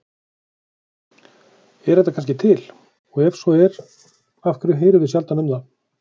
Er þetta kannski til og ef svo er af hverju heyrum við sjaldan um það?